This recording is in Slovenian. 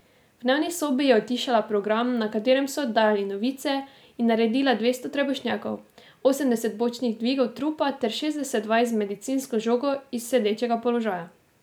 V dnevni sobi je utišala program, na katerem so oddajali novice, in naredila dvesto trebušnjakov, osemdeset bočnih dvigov trupa ter šestdeset vaj z medicinsko žogo iz sedečega položaja.